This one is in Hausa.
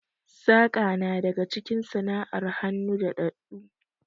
Saƙa na daga cikin sana'ar hannu daɗaɗɗu